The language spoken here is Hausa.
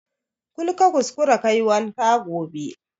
Kul ka kuskara kayi wanka gobe